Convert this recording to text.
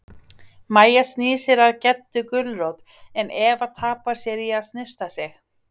Mæja snýr sér að Geddu gulrót en Eva tapar sér í að snyrta sig.